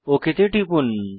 okay তে টিপুন